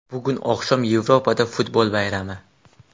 Bugun oqshom Yevropada futbol bayrami.